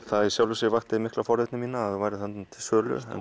það í sjálfu sér vakti mikla forvitni mína að þau væru til sölu